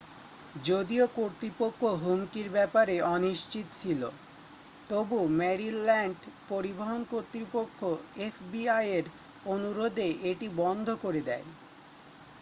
যদিও কর্তৃপক্ষ হুমকির ব্যাপারে অনিশ্চিত ছিল তবু মেরিল্যান্ড পরিবহন কর্তৃপক্ষ এফবিআইয়ের অনুরোধে এটি বন্ধ করে দেয়